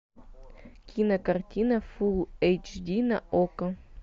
кинокартина фулл эйч ди на окко